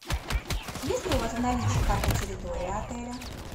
есть ли у вас в наличии карта территории отеля